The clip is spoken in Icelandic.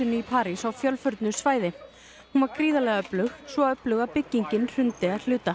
í París á fjölförnu svæði hún var gríðarlega öflug svo öflug að byggingin hrundi að hluta